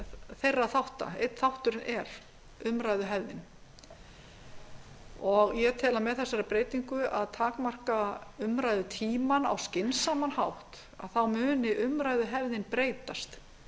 þeirra þátta einn þátturinn er umræðuhefðin ég tel að með þessari breytingu að takmarka umræðutímann á skynsaman hátt þá muni umræðuhefðin breytast